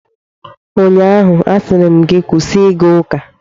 Ụnyaahụ, a sịrị m gị kwụsị ịga ụka!